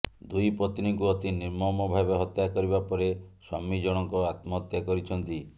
ଦୁଇ ପତ୍ନୀଙ୍କୁ ଅତି ନିର୍ମମ ଭାବେ ହତ୍ୟା କରିବା ପରେ ସ୍ୱାମୀ ଜଣଙ୍କ ଆତ୍ମହତ୍ୟା କରିଛନ୍ତି